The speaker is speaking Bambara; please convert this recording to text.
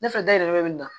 Ne fɛ da yɛlɛmɛ